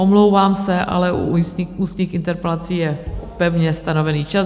Omlouvám se, ale u ústních interpelací je pevně stanoven čas.